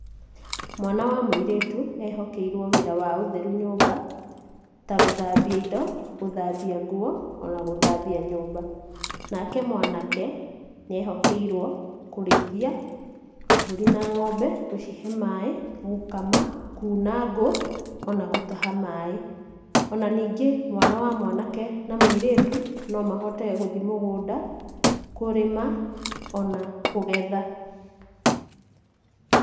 Mwana wa mũirĩtu ehokeirwo wĩra wa ũtheru nyũmba ta gũthambia indo, gũthambia nguo na gũthambia nyũmba, nake mwanake nĩehokeirwo kũrĩithĩa mbũri na ng'ombe, gũcihe maĩ, gũkama, kuuna ngũ ona gũtaha maĩ. Ona nĩngĩ, mwana wa mwanake na mũirĩtu no mahote gũthi mũgũnda kũrĩma ona kũgetha.